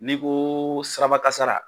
N'i ko sirabakasara